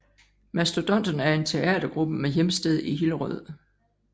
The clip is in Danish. Mastodonterne er en teatergruppe med hjemsted i Hillerød